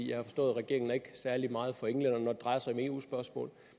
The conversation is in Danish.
jeg har forstået at regeringen ikke er særlig meget for englænderne når det drejer sig om eu spørgsmål